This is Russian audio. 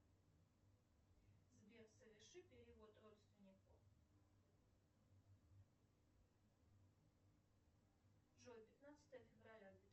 сбер соверши перевод родственнику джой пятнадцатое февраля